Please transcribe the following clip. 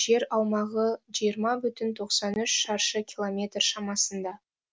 жер аумағы жиырма бүтін тоқсан үш шаршы километр шамасында